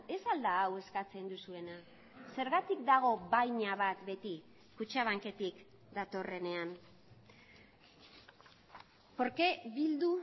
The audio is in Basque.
ez al da hau eskatzen duzuena zergatik dago baina bat beti kutxabanketik datorrenean por qué bildu